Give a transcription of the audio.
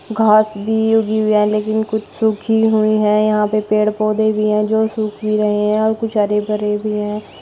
घास भी उगी हुई है लेकिन कुछ सूखी हुई हैं यहां पे पेड़ पौधे भी हैं जो सुख भी रहे हैं और कुछ हरे भरे भी हैं।